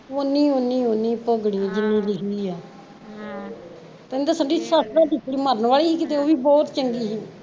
ਓਨੀ ਓਨੀ ਓਨੀ ਓਨੀ ਭੋਗਣੀ ਐ ਜਿਨੀ ਲਿਖੀ ਆ ਅਮ ਤੈਨੂ ਤਾਂ ਸੰਦੀਪ ਸੱਸ ਤਾਂ ਮਰਨ ਵਾਲੀ ਸੀ ਕਿਤੇ ਓਹ ਵੀ ਬਹੁਤ ਚੰਗੀ ਸੀ